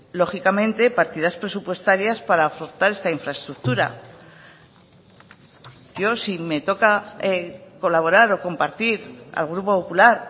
lógicamente partidas presupuestarias para afrontar esta infraestructura yo si me toca colaborar o compartir al grupo popular